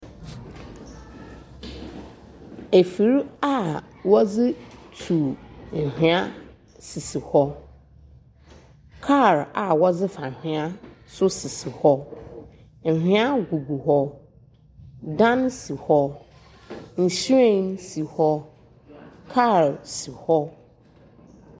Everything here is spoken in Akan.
Efir a wɔdze tu anhwea sisi hɔ, kaar a wɔdze fa anhwea so sisi hɔ, anhwea gugu hɔ, dan si hɔ. nhyiren si hɔ, kaar si hɔ.